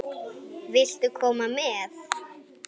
Viltu koma með?